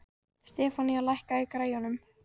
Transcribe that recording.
Stefanía, lækkaðu í græjunum.